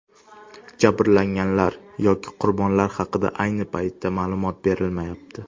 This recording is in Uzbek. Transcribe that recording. Jabrlanganlar yoki qurbonlar haqida ayni paytda ma’lumot berilmayapti.